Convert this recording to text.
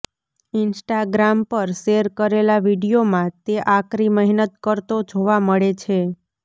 Instagram પર share કરેલા વીડિયોમાં તે આકરી મહેનત કરતો જોવા મળે છે